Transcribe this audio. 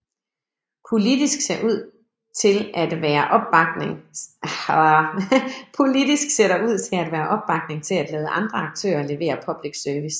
Politisk ser der ud til at være opbakning til at lade andre aktører levere public service